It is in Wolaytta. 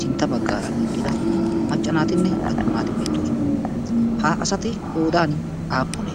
sintta baggaara eqqida maccaa naatinne attuma naati beettoosona. ha asati qoodan aappune?